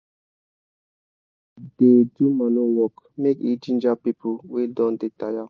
we da sing when we da do manure work make e ginger people wey don da taya